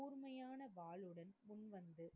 கூர்மையான வாளுடன் முன்வந்து,